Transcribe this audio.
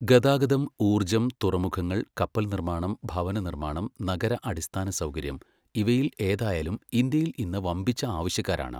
ഗതാഗതം, ഊർജ്ജം, തുറമുഖങ്ങൾ, കപ്പൽ നിർമ്മാണം, ഭവന നിർമ്മാണം , നഗര അടിസ്ഥാനസൗകര്യം ഇവയിൽ ഏതായാലും ഇന്ത്യയിൽ ഇന്ന് വമ്പിച്ച ആവശ്യക്കാരാണ്.